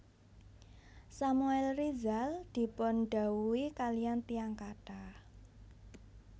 Samuel Rizal dipun dhawuhi kaliyan tiyang kathah